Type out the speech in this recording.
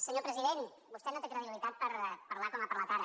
senyor president vostè no té credibilitat per parlar com ha parlat ara